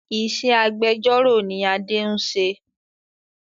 Ìṣe agbẹjọ́ró ni Adé ń ṣe